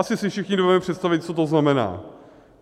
Asi si všichni dovedeme představit, co to znamená.